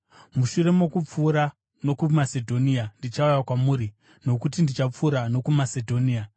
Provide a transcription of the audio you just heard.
Mushure mokupfuura nokuMasedhonia, ndichauya kwamuri, nokuti ndichapfuura nokuMasedhonia.